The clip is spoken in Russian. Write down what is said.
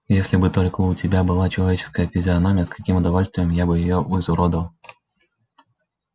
если бы только у тебя была человеческая физиономия с каким удовольствием я бы её изуродовал